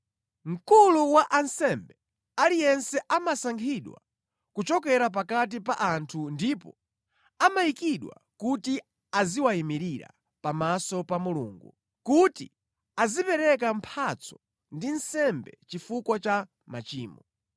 Mkulu wa ansembe aliyense amasankhidwa kuchokera pakati pa anthu ndipo amayikidwa kuti aziwayimirira pamaso pa Mulungu, kuti azipereka mphatso ndi nsembe chifukwa cha machimo.